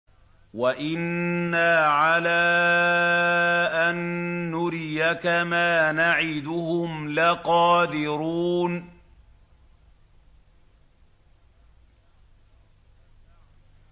وَإِنَّا عَلَىٰ أَن نُّرِيَكَ مَا نَعِدُهُمْ لَقَادِرُونَ